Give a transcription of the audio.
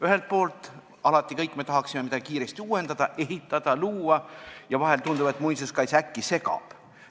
Ühelt poolt me kõik tahaksime alati midagi kiiresti uuendada, ehitada ja luua ning vahel tundub, et muinsuskaitse äkki segab.